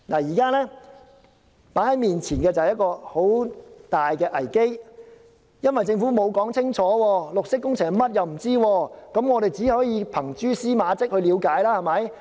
現在面前是一個很大的危機，因為政府沒有說清楚，我們連綠色工程是甚麼也不知道，只可憑蛛絲馬跡去了解。